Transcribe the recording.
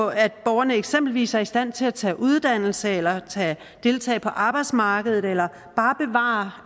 at borgerne eksempelvis ikke er i stand til at tage uddannelse eller deltage på arbejdsmarkedet eller bare bevare